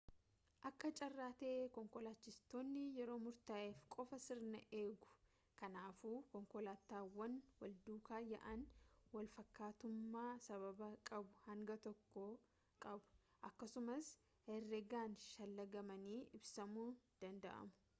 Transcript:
akka carraa tahee konkolaachiftoonni yeroo murtaaheef qofa sirna eegu kanaafuu konkolaataawwan walduukaa yaa'an walfakkaattummaa sababa qabu hanga tokko qabu akkasumas herregaan shallagamanii ibsamuu danda'u